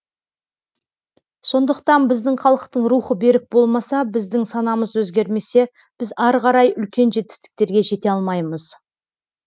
сондықтан біздің халықтың рухы берік болмаса біздің санамыз өзгермесе біз ары қарай үлкен жетістіктерге жете алмаймыз